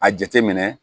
A jateminɛ